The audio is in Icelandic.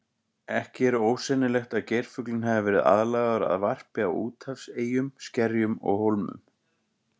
Ekki er ósennilegt að geirfuglinn hafi verið aðlagaður að varpi á úthafseyjum, skerjum og hólmum.